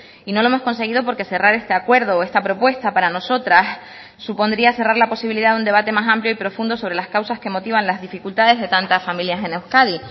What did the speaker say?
y no lo hemos conseguido porque cerrar este acuerdo o esta propuesta para nosotras supondría cerrar la posibilidad de un debate más amplio y profundo sobre las causas que motivan las dificultades de tantas familias en euskadi